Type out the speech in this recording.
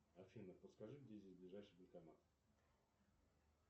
афина подскажи где здесь ближайший банкомат